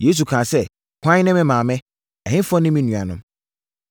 Yesu kaa sɛ, “Hwan ne me maame? Ɛhefoɔ ne me nuanom?”